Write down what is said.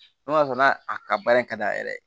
N'o y'a sɔrɔ n'a ka baara in ka d'a yɛrɛ ye